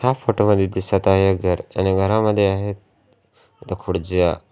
या फोटो मध्ये दिसत आहे एक घर आणि घरामध्ये आहेत खुडच्या.